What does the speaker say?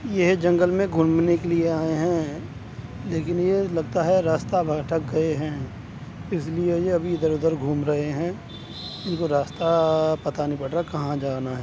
ये जंगल में घूमने के लिए आए हैं लेकिन ये लगता है रास्ता भटक गए हैं इसलिए ये अभी इधर उधर घूम रहे हैं इनको रास्ता पता नहीं पड़ रहा कहां जाना है।